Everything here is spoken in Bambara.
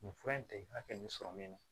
Nin fura in tɛ i ka hakɛ min sɔrɔ min na